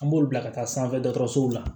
An b'olu bila ka taa sanfɛ dɔgɔtɔrɔsow la